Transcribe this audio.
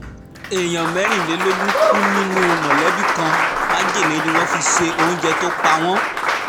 èèyàn mẹ́rìnlélógún kú nínú mọ̀lẹ́bí kan májèlé ni wọ́n fi se oúnjẹ tó pa wọ́n